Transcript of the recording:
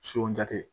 Son jate